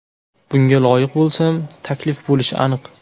Bunga loyiq bo‘lsam, taklif bo‘lishi aniq.